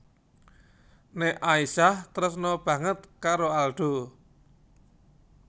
Nek Aisyah tresna banget karo Aldo